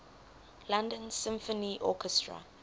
london symphony orchestra